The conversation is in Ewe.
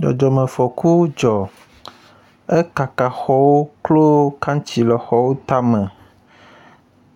Dzɔdzɔmefɔku dzɔ. Ekaka xɔwo klo kantsi le xɔwo tame